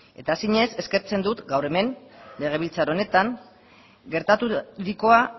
eta zinez eskertzen dut gaur hemen legebiltzar honetan gertaturikoa